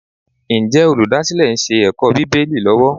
Ǹjẹ́ olùdásílẹ̀ ń ṣe ẹ̀kọ́ Bíbélì lọ́wọ́?